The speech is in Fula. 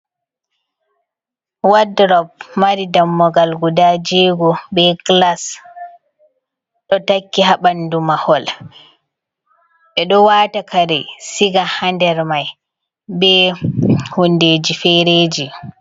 Waldrop mari dammugal guda jego be glass. Ɗo takki ha ɓandu mahol. Ɓeɗo wata kare siga ha nder mai be hundeji fereji.